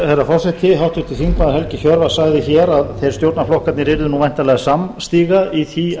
herra forseti háttvirtur þingmaður helgi hjörvar sagði hér að stjórnarflokkarnir yrðu væntanlega samstiga í því